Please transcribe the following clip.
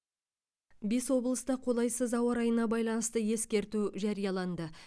бес облыста қолайсыз ауа райына байланысты ескерту жарияланды